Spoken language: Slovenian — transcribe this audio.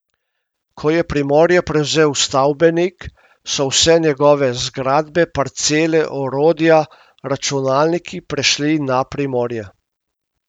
Ko je Primorje prevzel Stavbenik, so vse njegove zgradbe, parcele, orodja, računalniki prešli na Primorje.